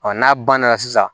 n'a banna sisan